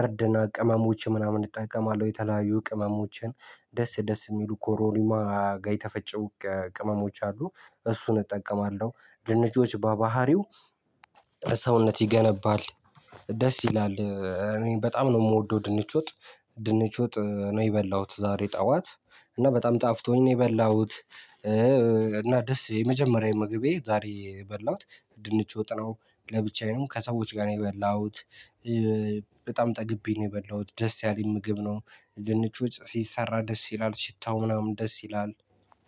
እርድና ቅመሞች ምናምን እጠቀማለሁ የተለያዩ ቅመሞችን። ደስ ደስ የሚሉ ኮሮሪማ ጋይ ተፈጨ ቅመሞች አሉ እሱን እጠቀማለሁ። ድንች በባህሪው ሰውነት ይገነባል ደስ ይላል። በጣም ነው የምወደው ድንች ወጥ። ድንች ወጥ ነው የበላሁት ዛሬ ጠዋት እና በጣም ጣፍቶኝ የበላሁት። እና ደስ የመጀመሪያ ምግቤ ዛሬ የበላሁት ድንች ወጥነው ለብቻዬ ነው ከሰዎች ጋር ነው የበላሁት። በጣም ጠግቤ ነው የበላሁት ደስ ያለኝ ምግብ ነው። ድንች ውጥ ሲሰራ ደስ ይላል ሽታው ምናምን ደስ ይላል።